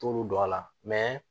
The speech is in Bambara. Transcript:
T'olu don a la